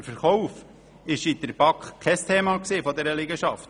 Der Verkauf der Liegenschaft war in der BaK kein Thema.